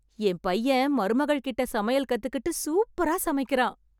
என் பையன் மருமகள்கிட்ட சமையல் கத்துக்கிட்டு சூப்பரா சமைக்கறான்.